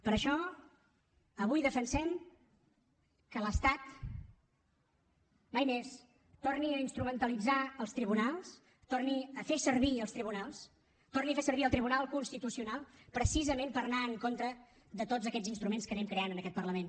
per això avui defensem que l’estat mai més torni a instrumentalitzar els tribunals torni a fer servir els tribunals torni a fer servir el tribunal constitucional precisament per anar en contra de tots aquests instruments que anem creant en aquest parlament